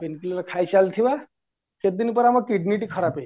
pen clear କହିଚାଲିଥିବା କେତେଦିନୀ ପରେ ଆମ kidney ଖରାପ ହେଇଯିବ